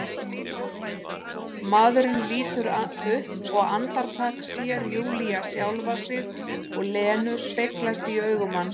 Maðurinn lítur upp og andartak sér Júlía sjálfa sig og Lenu speglast í augum hans.